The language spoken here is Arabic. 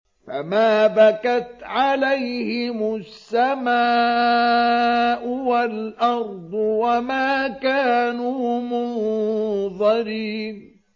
فَمَا بَكَتْ عَلَيْهِمُ السَّمَاءُ وَالْأَرْضُ وَمَا كَانُوا مُنظَرِينَ